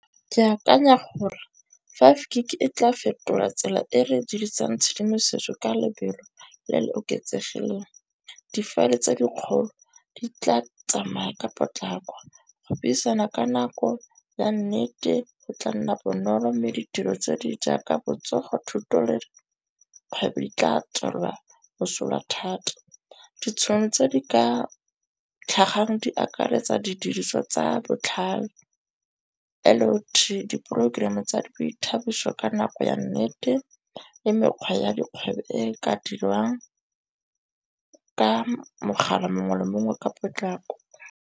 Ke akanya gore five gig e tla fetola tsela e re dirisang tshedimosetso ka lebelo le le oketsegileng. Difaele tse dikgolo di tla tsamaya ka potlako, go buisana ka nako ya nne go tla nna bonolo mme ditiro tse di jaaka botsogo, thuto le dikgwebo di tla tswalwa mosola thata. Ditšhono tse di ka tlhagang di akaretsa didiriswa tsa botlhale, L_O_D di programme tsa di boithabiso ka nako ya nnete le mekgwa ya dikgwebo e ka dirwang ka mogala mongwe le mongwe ka potlako.